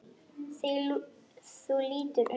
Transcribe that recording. Þú lítur undan.